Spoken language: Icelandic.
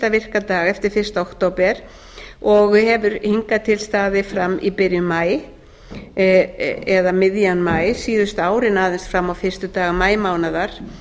virka dag eftir fyrsta október og hefur hingað til staðið fram í byrjun maí eða miðjan maí síðustu árin aðeins fram á fyrstu daga maímánaðar